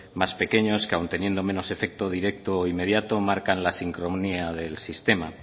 más pequeños que aun teniendo menos efecto directo inmediato marcan la sincronía del sistema